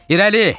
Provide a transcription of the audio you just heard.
İrəli!